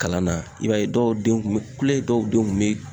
Kalan na i b'a ye dɔw den kun be kule dɔw denw kun be